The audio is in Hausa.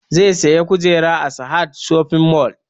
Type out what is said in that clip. Zai saya kujera a sahad shoping mall